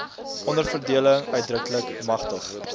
onderverdeling uitdruklik magtig